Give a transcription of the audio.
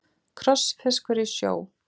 Krossfiskur í sjó.